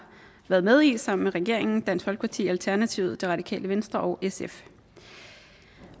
været med i sammen med regeringen dansk folkeparti alternativet det radikale venstre og sf